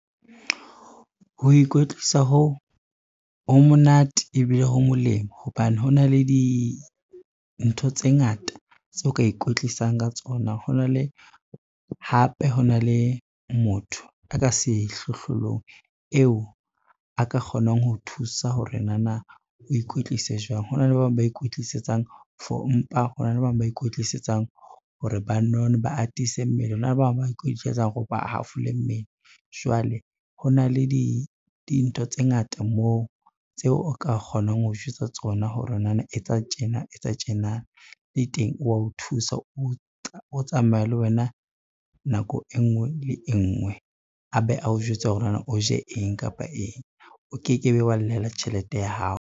Ho ikwetlisa hoo, ho monate ebile ho molemo hobane ho na le dintho tse ngata tseo ka ikwetlisang ka tsona. Hape ho na le motho a ka sehlohlolong eo a ka kgonang ho o thusa hore nana o ikwetlise jwang. Hona le ba bang ba ikwetlisetsang for mpa, hona le ba bang ba ikwetlisetsang hore ba none ba atise mmele, hona le ba bang ba ikwetlisetsang ho re ba hafole mmele. Jwale ho na le dintho tse ngata moo tseo o ka kgonang ho jwetsa tsona hore nana etsa tjena etsa tjena le teng o wa o thusa, o tsamaya le wena nako e ngwe le e ngwe a be a o jwetsa hore nana o je eng kapa eng, o ke ke be wa llela tjhelete ya hao.